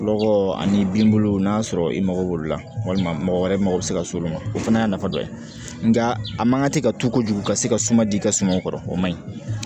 Lɔgɔ ani bin n'a sɔrɔ i mago b'olu la walima mɔgɔ wɛrɛ mago bɛ se ka s'olu ma o fana y'a nafa dɔ ye nka a man kan ka tɛ ka to kojugu ka se ka suma di i ka sumaw kɔrɔ o ma ɲi